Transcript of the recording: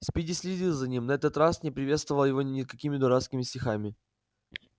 спиди следил за ним на этот раз не приветствовал его никакими дурацкими стихами